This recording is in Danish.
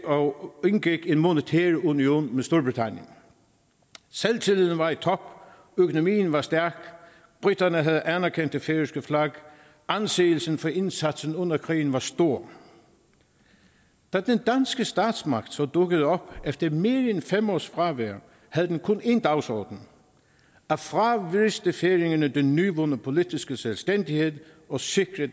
og indgik en monetær union med storbritannien selvtilliden var i top økonomien var stærk briterne havde anerkendt det færøske flag anseelsen for indsatsen under krigen var stor da den danske statsmagt så dukkede op efter mere end fem års fravær havde den kun én dagsorden at fravriste færingerne den nyvundne politiske selvstændighed og sikre